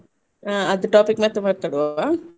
ಆ ಅದು topic ಮತ್ತೆ ಮಾತಾಡುವವ?